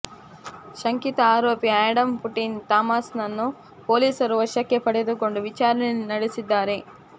ಶಂಕಿತ ಆರೋಪಿ Adam Putin ಟಮಸಾನನ್ನು ಪೊಲೀಸರು ವಶಕ್ಕೆ ಪಡೆದು ವಿಚಾರಣೆ ನಡೆಸಿದ್ದಾರೆ